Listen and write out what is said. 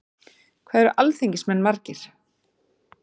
Hvað eru alþingismenn margir?